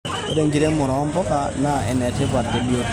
Ore enkiremore ompuka naa enetipat tebiotisho.